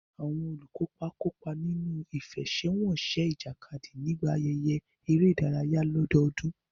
Àwọn olùkópa kópa nínú ìfẹsẹ̀wọnsẹ̀ ìjàkadì nígbà ayẹyẹ eré ìdárayá ọdọọdún.